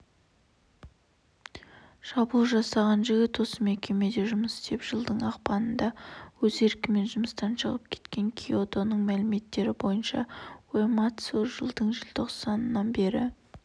шабуыл жасаған жігіт осы мекемеде жұмыс істеп жылдың ақпанында өз еркімен жұмыстан шығып кеткен киодоның мәліметтері бойынша уэмацу жылдың желтоқсанынан бері